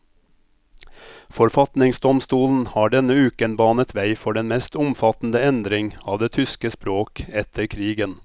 Forfatningsdomstolen har denne uken banet vei for den mest omfattende endring av det tyske språk etter krigen.